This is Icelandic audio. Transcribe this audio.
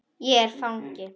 Er ég fangi?